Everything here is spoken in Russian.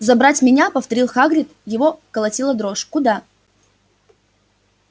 забрать меня повторил хагрид его колотила дрожь куда